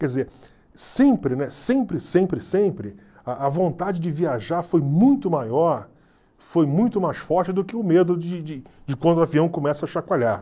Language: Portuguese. Quer dizer, sempre, né, sempre, sempre, sempre, a a vontade de viajar foi muito maior, foi muito mais forte do que o medo de de de quando o avião começa a chacoalhar.